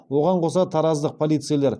оған қоса тараздық полицейлер